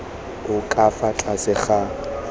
o ka fa tlase ga